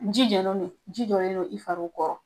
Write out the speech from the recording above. Ji jɔyɔrɔ be yen, ji jɔlen don i farw kɔ